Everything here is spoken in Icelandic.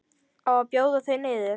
Á að bjóða þau niður?